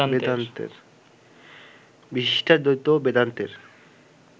বিশিষ্টাদ্বৈত বেদান্তের